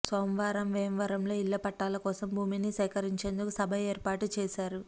సోమవారం వేమవరంలో ఇళ్ల పట్టాల కోసం భూమిని సేకరించేందుకు సభ ఏర్పాటు చేశారు